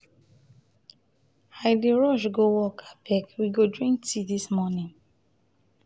i dey rush go work abeg we go drink tea dis morning.